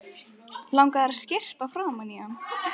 Langar að skyrpa framan í hann.